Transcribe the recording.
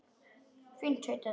Fínt tautaði Tóti.